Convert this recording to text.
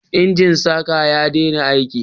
Injin saƙa ya dena aiki